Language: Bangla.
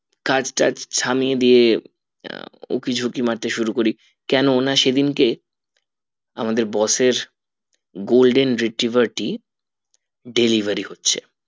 কাজ টাজ থামিয়ে দিয়ে উঁকি ঝুঁকি মারতে শুরু করি কেননা সেদিন কে আমাদের boss এর golden retriever টি delivery হচ্ছে